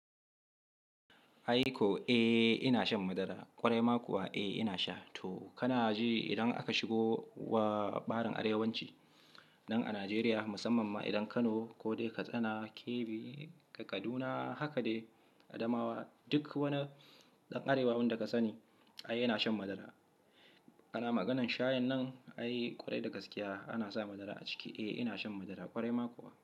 Ai ko, eh ina shan madara ƙwarai ma kuwa eh ina sha. To kana ji idan aka shigo wa ɓarin arewanci nan a Najeriya musamman ma idan Kano ko dai Katsina, Kebbi ko Kaduna haka dai Adamawa duk wani ɗan arewa da ka sani ai yana shan madara. Ana maganan shayan nan ai ƙwarai da gaskiya ana sa madara a ciki. Eh ina shan madara ƙwarai ma kuwa.